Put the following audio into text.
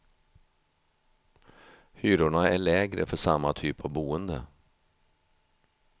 Hyrorna är lägre för samma typ av boende.